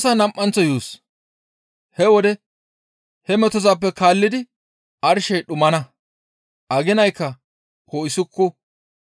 «He wode he metozappe kaallidi arshey dhumana; aginaykka poo7isuku.